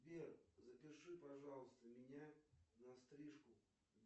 сбер запиши пожалуйста меня на стрижку